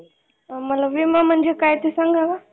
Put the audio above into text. मला विमा म्हणजे काय ते सांगा ना